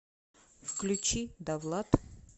включи давлад